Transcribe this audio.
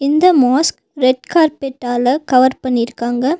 இந்த mask red கார்பெட்டால cover பண்ணிருக்காங்க.